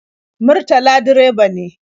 Murtala direba ne.